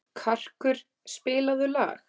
Karkur, spilaðu lag.